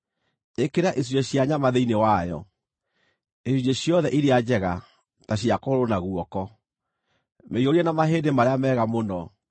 Ĩkĩra icunjĩ cia nyama thĩinĩ wayo, icunjĩ ciothe iria njega, ta cia kũgũrũ na guoko. Mĩiyũrie na mahĩndĩ marĩa mega mũno;